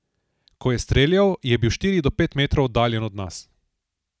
Ko je streljal, je bil štiri do pet metrov oddaljen od nas.